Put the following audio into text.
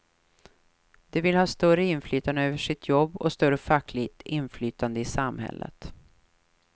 De vill ha större inflytande över sitt jobb och större fackligt inflytande i samhället.